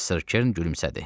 Professor Kern gülümsədi.